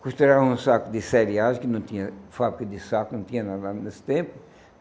Costuravam um saco de cereais, que não tinha fábrica de saco, não tinha na nada nesse tempo.